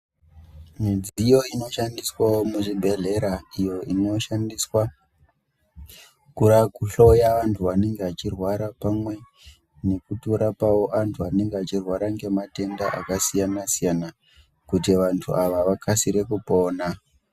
Mudziyo inoshandiswawo muzvibhehlera inoshandiswa kuhloya vantu vanenge vachirwara pamwe kutorapawo antu anenge achirwara ngematenda akasiyana siyana kuti vantu ava vakasire kupona.